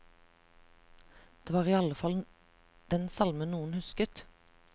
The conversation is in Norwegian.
Det var i alle fall den salmen noen husket.